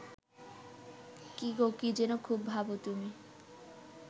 কী গো কী যেন খুব ভাবো তুমি